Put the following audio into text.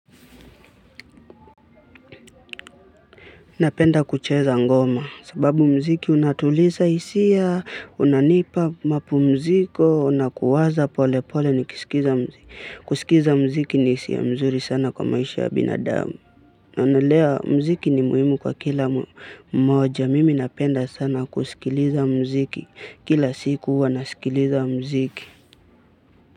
Napenda kucheza ngoma, sababu muziki unatuliza hisia, unanipa mapumziko, na kuwaza polepole nikisikiza muziki. Kusikiza muziki ni hisia mzuri sana kwa maisha ya binadamu. Na nalea muziki ni muhimu kwa kila mmoja, mimi napenda sana kusikiliza muziki, kila siku huwa nasikiliza muziki.